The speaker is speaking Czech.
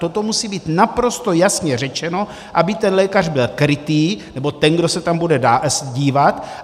Toto musí být naprosto jasně řečeno, aby ten lékař byl krytý, nebo ten, kdo se tam bude dívat.